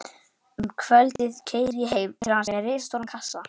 Um kvöldið keyri ég heim til hans með risastóran kassa.